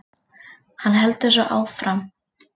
Hann heldur svo áfram